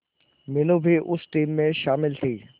मीनू भी उस टीम में शामिल थी